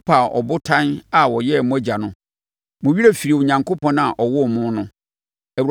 Mopaa Ɔbotan a ɔyɛɛ mo agya no. Mo werɛ firii Onyankopɔn a ɔwoo mo no.